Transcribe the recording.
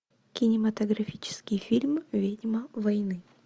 кинематографический фильм ведьма войны